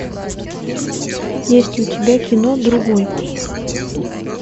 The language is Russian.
есть ли у тебя кино другой